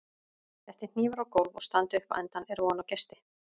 Detti hnífur á gólf og standi upp á endann er von á gesti.